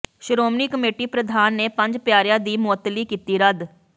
Shiromani committee ਪ੍ਰਧਾਨ ਨੇ ਪੰਜ ਪਿਆਰਿਆਂ ਦੀ ਮੁਅੱਤਲੀ ਕੀਤੀ ਰੱਦ